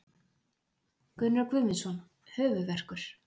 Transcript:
Gunnar Guðmundsson Höfuðverkur.